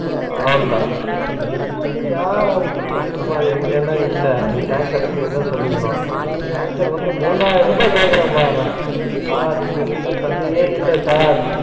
அவ்ளோத நீ பிடிச்சா பிடிச்சுக்கோ அந்தமாதிரி இல்லனா இல்ல time கிடைகுரப்ப சொல்லிக்கணும் Tanker வந்து மூவாயிரம் ருவா கேக்குரான்ப்பா அவே, sir இங்கருந்து தண்ணியே இல்ல sir